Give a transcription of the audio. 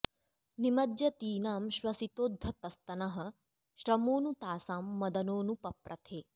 निमज्जतीनां श्वसितोद्धतस्तनः श्रमो नु तासां मदनो नु पप्रथे